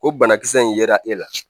O banakisɛ in yera e la